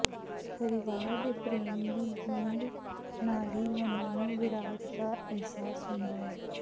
ਪਰਿਵਾਰ ਦੇ ਪ੍ਰੇਮ ਦੀ ਬੂੰਦ ਨਾਲ ਹੀ ਉਹਨਾਂ ਨੂੰ ਵਿਰਾਟ ਦਾ ਅਹਿਸਾਸ ਹੁੰਦਾ ਹੈ